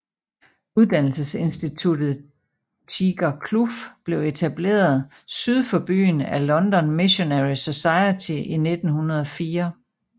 Uddannelsesinstituttet Tiger Kloof blev etableret syd for byen af London Missionary Society i 1904